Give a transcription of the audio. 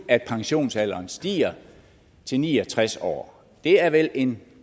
at pensionsalderen stiger til ni og tres år det er vel en